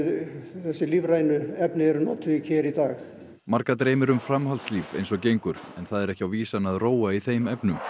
þessi lífrænu efni eru notuð í dag marga dreymir um framhaldslíf eins og gengur en það er ekki á vísan að róa í þeim efnum